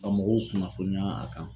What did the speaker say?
Ka mɔgɔw kunnafoniya a kan